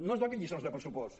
no ens donin lliçons de pressupost